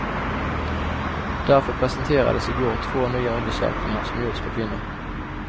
Därför presenterades i går två nya undersökningar som gjorts på kvinnor.